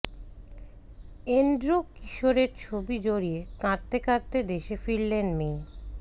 Andrew কিশোরের ছবি জড়িয়ে কাঁদতে কাঁদতে দেশে ফিরলেন মেয়ে